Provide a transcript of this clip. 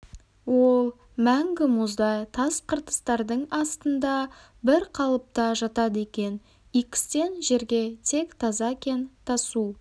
ол мәңгі мұздай тас қыртыстардың астында бір қалыпта жатады екен икстен жерге тек таза кен тасу